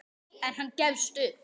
En hann gefst upp.